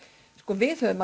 við höfum